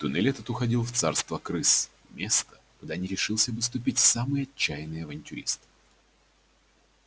туннель этот уходил в царство крыс место куда не решился бы ступить самый отчаянный авантюрист